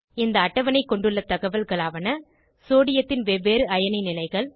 இந்த அட்டவணை கொண்டுள்ள தகவல்களாவன சோடியத்தின் வெவ்வேறு அயனி நிலைகள்